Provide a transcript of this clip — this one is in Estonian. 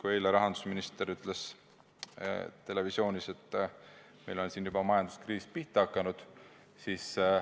Eile ütles rahandusminister televisioonis, et meil on juba majanduskriis pihta hakanud.